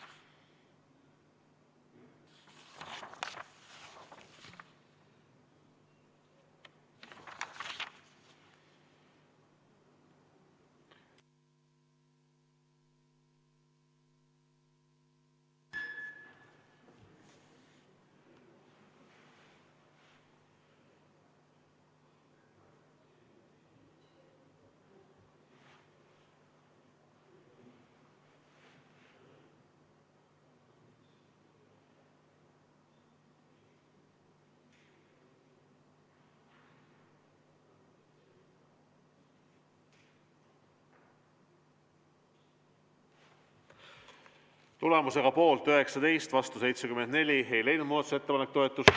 Tulemusega poolt 19, vastu 74 ei leidnud muudatusettepanek toetust.